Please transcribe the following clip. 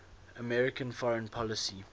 american foreign policy